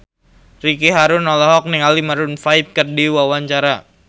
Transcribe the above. Ricky Harun olohok ningali Maroon 5 keur diwawancara